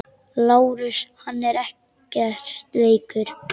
LÁRUS: Hann er ekkert veikur.